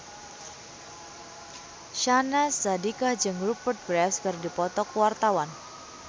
Syahnaz Sadiqah jeung Rupert Graves keur dipoto ku wartawan